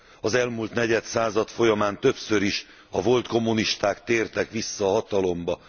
Az elmúlt negyed század folyamán többször is a volt kommunisták tértek vissza a hatalomba.